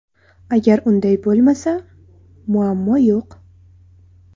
Agar unday bo‘lmasa, muammo yo‘q.